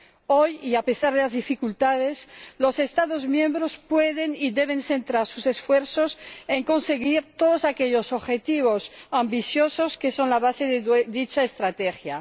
Hoy, y a pesar de las dificultades, los Estados miembros pueden y deben centrar sus esfuerzos en conseguir todos aquellos objetivos ambiciosos, que son la base de dicha estrategia.